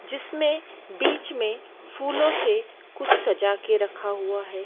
जिसमें बीच में फूलों से कुछ सजा के रखा हुआ है।